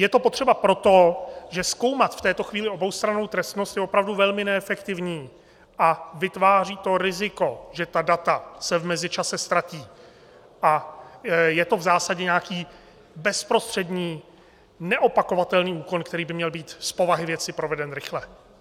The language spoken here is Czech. Je to potřeba proto, že zkoumat v této chvíli oboustrannou trestnost je opravdu velmi neefektivní a vytváří to riziko, že ta data se v mezičase ztratí, a je to v zásadě nějaký bezprostřední neopakovatelný úkon, který by měl být z povahy věci proveden rychle.